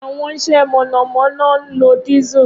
Awọn ise monomono nlo Diesel.